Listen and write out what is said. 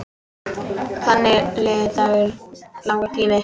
Þannig leið langur tími.